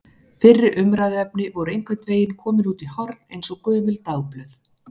Fyrri umræðuefni voru einhvern veginn komin út í horn eins og gömul dagblöð.